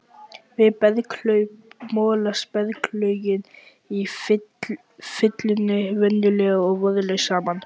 Við berghlaup molast berglögin í fyllunni venjulega og vöðlast saman.